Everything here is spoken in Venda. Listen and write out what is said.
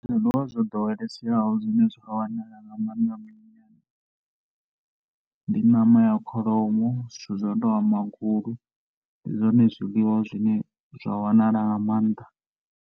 Zwiḽiwa zwo ḓoweleseaho zwine zwa wanala nga maanḓa minyanyani ndi ṋama ya kholomo zwithu zwo tou nga magulu ndi zwone zwiḽiwa zwine zwa wanala nga maanḓa.